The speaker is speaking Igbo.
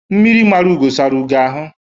Mmiri mara ugo sara ugo ahụ